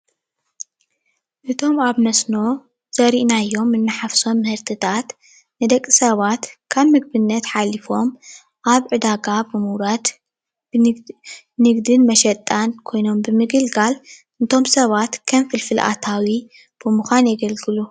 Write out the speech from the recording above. እቶም አብ መስኖ ዘርኢናዮ እናሓፍሶም ምህርትታት ንደቂ ስባት ካብ ምግብነት ሓሊፎም አብ ዕዳጋ አብ ምውራድ ንግድን መሽጣን ኮይኖም ብምግልጋል እቶም ስባት ከም ፍልፍል አታዊ ብምዃን የገልግሉ፡፡